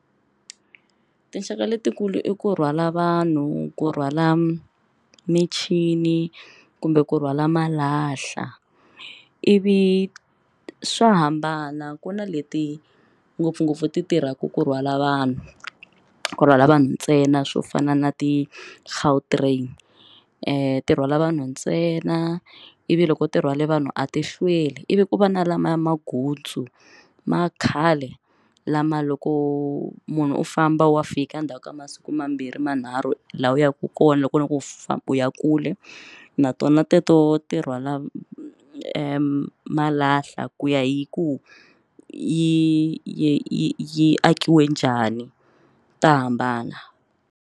Tinxaka letikulu i ku rhwala vanhu ku rhwala michini kumbe ku rhwala malahla ivi swa hambana ku na leti ngopfungopfu ti tirhaka ku rhwala vanhu ku rhwala vanhu ntsena swo fana na ti Gautrain ti rhwala vanhu ntsena ivi loko ti rhwale vanhu a ti hlweli ivi ku va na lamaya magutsu ma khale lama loko munhu u famba wa fika ndzhaku ka masiku mambirhi manharhu laha u yaka kona loko u loko u famba u ya kule na tona teto wo ti rhwala malahla ku ya hi ku yi yi yi akiwe njhani ta hambana.